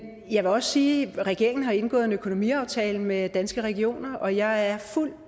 jeg vil også sige at regeringen har indgået en økonomiaftale med danske regioner og jeg har fuld